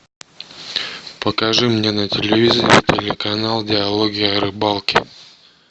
покажи мне на телевизоре телеканал диалоги о рыбалке